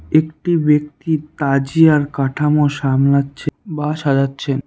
একটি ব্যক্তি তাজিয়ার কাঠামো সামলাচ্ছে বা সাজাচ্ছেন।